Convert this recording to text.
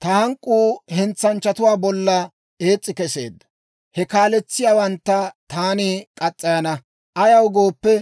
Ta hank'k'uu hentsanchchatuwaa bolla ees's'i keseedda; he kaaletsiyaawantta taani murana. Ayaw gooppe,